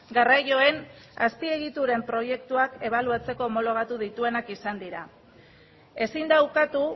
garraioen azpiegituren proiektuak ebaluatzeko homologatu dituenak izan dira ezin da ukatu